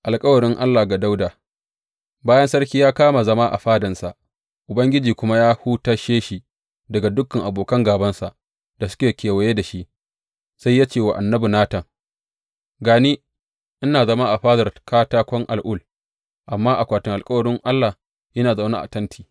Alkawarin Allah ga Dawuda Bayan sarki ya kama zama a fadansa Ubangiji kuma ya hutashe shi daga dukan abokan gābansa da suke kewaye da shi, sai ya ce wa annabi Natan, Ga ni, ina zama a fadar katakon al’ul, amma akwatin alkawarin Allah yana zaune a tenti.